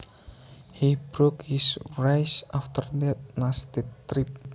He broke his wrist after that nasty trip